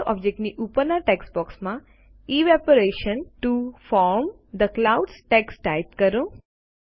water object ની ઉપરના text બોક્સમાં evaporation to form the clouds text type કરો